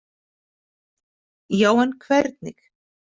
Já, en hvernig?